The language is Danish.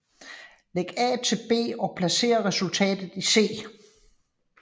Læg A til B og placer resultatet i C